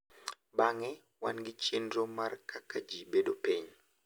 Bang’e, wan gi chenro mar kaka ji bedo piny.